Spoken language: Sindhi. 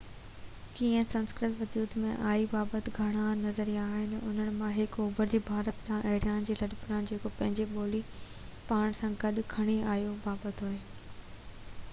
ڪيئن سنسڪرت وجود ۾ آئي بابت گهڻا نظريا آهن انهن مان هڪ اوڀر کان ڀارت ڏانهن آريان جي لڏپلاڻ جيڪو پنهنجي ٻولي پاڻ سان گڏ کڻي آهيو بابت آهي